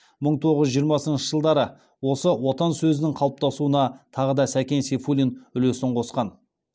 мың тоғыз жүз жиырмасыншы жылдары осы отан сөзінің қалыптасуына тағы да сәкен сейфуллин үлесін қосқан